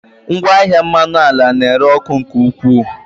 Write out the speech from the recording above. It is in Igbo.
Ngwaahịa mmanụ ala na-ere ọkụ nke ukwuu.